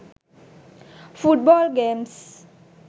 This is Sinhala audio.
foot ball games